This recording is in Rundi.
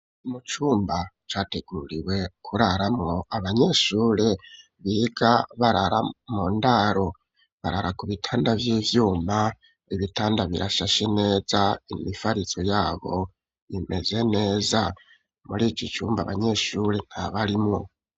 mu cumba categuriwe kuraramwo abanyeshuri biga barara mundaro barara ku bitanda vy'ivyuma ibitanda birashashe neza imifarizo yabo bimeze neza muri ico cumba abanyeshuri nta barimwo.